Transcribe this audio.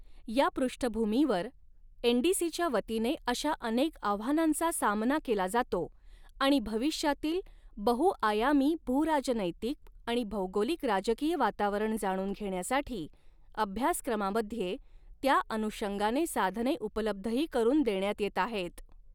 या पृष्ठभूमूीवर एनडीसीच्यावतीने अशा अनेक आव्हानांचा सामना केला जातो आणि भविष्यातील बहु आयामी भूराजनैतिक आणि भौगोलिक राजकीय वातावरण जाणून घेण्यासाठी अभ्यासक्रमामध्ये त्या अनुषंगाने साधने उपलब्धही करून देण्यात येत आहेत.